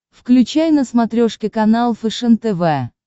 включай на смотрешке канал фэшен тв